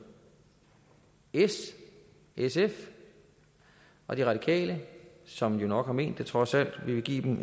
s sf og de radikale som jo nok har ment det trods alt vi vil give dem